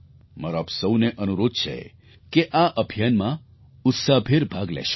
મારો આપ સહુને અનુરોધ છે કે આ અભિયાનમાં ઉત્સાહભેર ભાગ લેશો